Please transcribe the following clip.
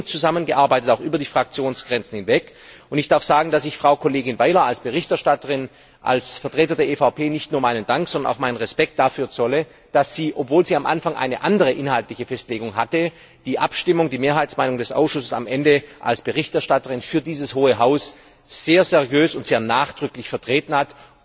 Wir haben eng zusammengearbeitet, auch über die Fraktionsgrenzen hinweg, und ich darf sagen, dass ich als Vertreter der EVP Frau Kollegin Weiler als Berichterstatterin nicht nur meinen Dank, sondern auch meinen Respekt dafür zolle, dass sie obwohl sie am Anfang eine andere inhaltliche Festlegung hatte die Abstimmung, die Mehrheitsmeinung des Ausschusses am Ende als Berichterstatterin für dieses hohe Haus sehr seriös und sehr nachdrücklich vertreten hat.